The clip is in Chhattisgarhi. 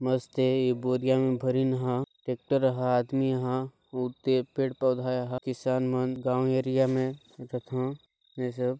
मस्त हाय ये बोरियां भरिन हा ट्रैक्टर हा आदमी हा उते पेड़ पौधा हा किसान मंद गाँव एरिया में ये सब --